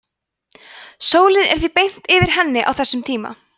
sólin er því beint yfir henni á þessum tíma